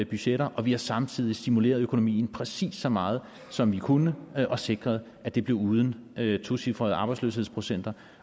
budgetter og vi har samtidig stimuleret økonomien præcis så meget som vi kunne og sikret at det blev uden tocifrede arbejdsløshedsprocenter